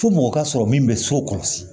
Fo mɔgɔ ka sɔrɔ min bɛ so kɔlɔsi